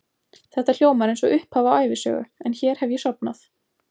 Þetta hljómar einsog upphaf á ævisögu, en hér hef ég sofnað.